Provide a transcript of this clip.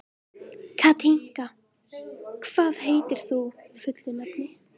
Katinka, hvað heitir þú fullu nafni?